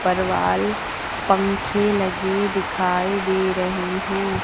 पर वाल पंखे लगे दिखाई दे रहे हैं।